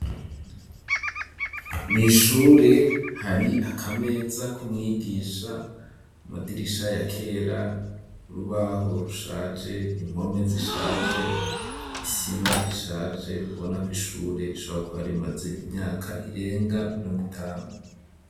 Mw'ishure hari akameza k'umwigisha, amadirisha ya kera, urubaho rushaje, impome zishaje, isima ishaje, ubona ko ishure rishobora kuba rimaze imyaka irenga mirongo itanu.